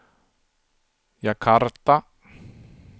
Jakarta